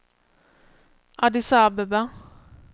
Addis Abeba